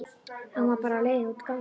En hún var bara á leiðinni út ganginn.